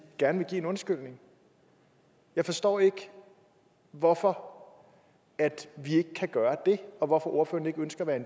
gerne vil give en undskyldning jeg forstår ikke hvorfor vi ikke kan gøre det og hvorfor ordføreren ikke ønsker at være